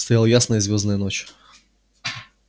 стояла ясная звёздная ночь